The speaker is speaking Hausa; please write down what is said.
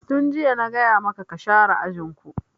Tun jiya na gaya maka ka share ajin ku!